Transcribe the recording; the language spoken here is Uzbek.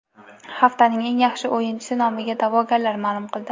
Haftaning eng yaxshi o‘yinchisi nomiga da’vogarlar ma’lum qildi.